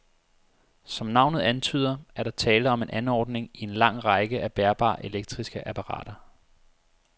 Som navnet antyder, er der tale om en anordning i en lang række af bærbare elektriske apparater.